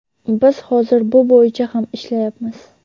Biz hozir bu bo‘yicha ham ishlayapmiz.